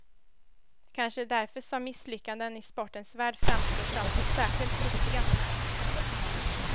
Kanske är det därför som misslyckaden i sportens värld framstår som särskilt lustiga.